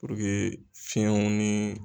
fiyɛw ni.